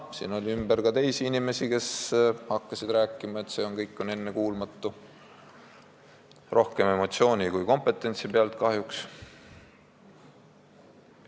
Siin oli ka teisi inimesi, kes hakkasid kahjuks rohkem emotsiooni kui kompetentsi pealt rääkima, et see kõik on ennekuulmatu.